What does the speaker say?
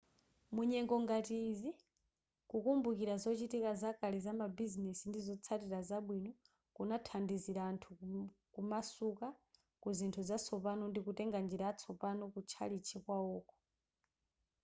munyengo ngati izi kukumbukira zochitika zakale zamabizinesi ndi zotsatira zabwino kunathandizira anthu kumasuka kuzinthu zatsopano ndikutenga njira yatsopano kutchalichi kwawoko